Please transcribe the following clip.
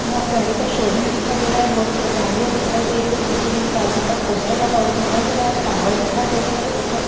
यहाँ पे गाड़ी का शोरूम दिखाई दे रहा है बहुत सी गाडियां दिखाई दे रही है पीछे बाइक का पोस्टर लगा हुआ दिखाई दे रहा है फ्लावर दिखाई दे रहे है ऊपर --